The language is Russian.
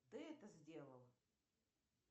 ты это сделал